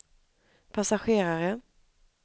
passagerare